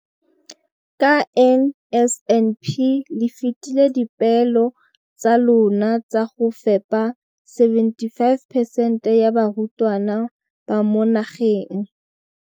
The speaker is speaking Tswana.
Ka NSNP le fetile dipeelo tsa lona tsa go fepa 75 percent ya barutwana ba mo nageng.